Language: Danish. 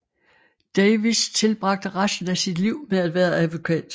Davis tilbragte resten af sit liv med at være advokat